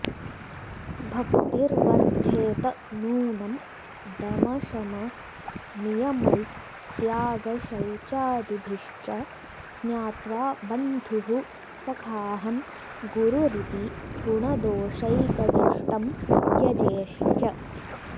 भक्तिर्वर्द्धेत नूनं दमशमनियमैस्त्यागशौचादिभिश्च ज्ञात्वा बन्धुः सखाहं गुरुरिति गुणदोषैकदृष्टिं त्यजेश्च